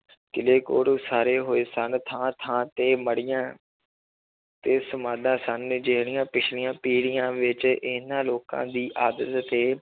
ਕਿਲ੍ਹੇ ਕੋਟ ਉਸਾਰੇ ਹੋਏ ਸਨ ਥਾਂ ਥਾਂ ਤੇ ਮੜ੍ਹੀਆਂ ਤੇ ਸਮਾਧਾਂ ਸਨ ਜਿਹੜੀਆਂ ਪਿੱਛਲੀਆਂ ਪੀੜ੍ਹੀਆਂ ਵਿੱਚ ਇਹਨਾਂ ਲੋਕਾਂ ਦੀ ਤੇ